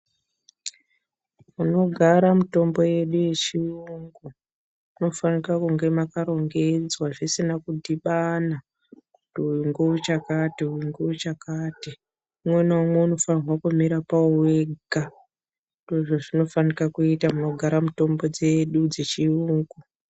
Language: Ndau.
Kunogara mitombo yedu yechiyungu munofanira kunge makarongedzwa zviro zvisina kudhibhana kutu uyu ngewe chakati uyu ngewe chakati. Unwe naumwe unofana kumira pawo wega. Izvi zvinofana kuita munogara mutombo zedu dzechiyungu.